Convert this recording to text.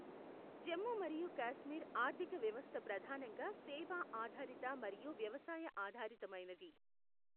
జమ్మూ మరియు కాశ్మీర్ ఆర్థిక వ్యవస్థ ప్రధానంగా సేవా ఆధారిత మరియు వ్యవసాయ ఆధారితమైనది.